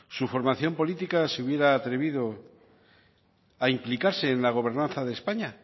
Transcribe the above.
su formación política se hubiera atrevido a implicarse en la gobernanza de españa